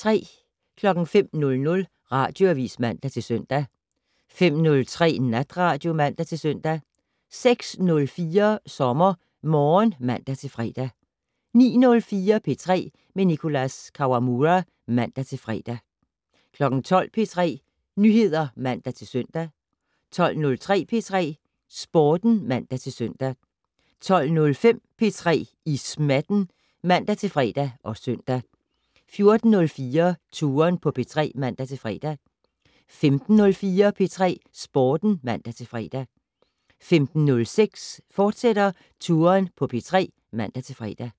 05:00: Radioavis (man-søn) 05:03: Natradio (man-søn) 06:04: SommerMorgen (man-fre) 09:04: P3 med Nicholas Kawamura (man-fre) 12:00: P3 Nyheder (man-søn) 12:03: P3 Sporten (man-søn) 12:05: P3 i smatten (man-fre og søn) 14:04: Touren på P3 (man-fre) 15:04: P3 Sporten (man-fre) 15:06: Touren på P3, fortsat (man-fre)